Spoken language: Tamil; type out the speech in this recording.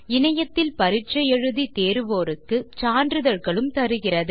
இணையத்தில் பரிட்சை எழுதி தேர்வோருக்கு சான்றிதழ்களும் தருகிறது